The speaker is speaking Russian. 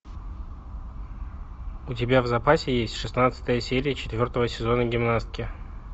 у тебя в запасе есть шестнадцатая серия четвертого сезона гимнастки